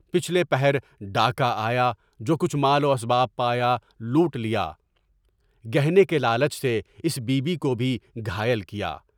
پچھلے پہر ڈاکا آیا، جو کچھ مال و اسباب پایا لوٹ لیا، گہنے کے لالچ سے اس بی بی کو بھی گھائل کیا۔